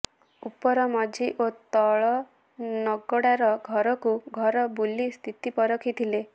ଉପର ମଝି ଓ ତଳନଗଡ଼ାର ଘରକୁ ଘର ବୁଲି ସ୍ଥିତି ପରଖିଥିଲେ